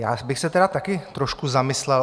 Já bych se tedy taky trošku zamyslel.